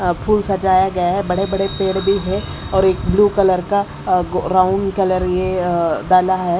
अह फूल सजाया गया है बड़े बड़े पेड़ भी है और एक ब्लू कलर का अह ब्राउन कलर ये अह डाला है।